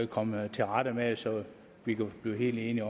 komme til rette med det så vi kan blive helt enige